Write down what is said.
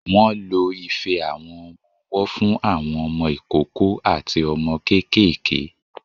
Wọ́n lo ife àwọn ọmọ-ọwọ́ fún àwọn ọmọ ìkókó àti ọmọ kéékèèké.